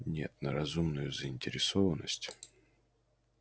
нет на разумную заинтересованность